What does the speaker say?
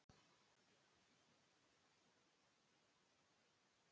En hvaða ráð er hægt að gefa í þessu máli?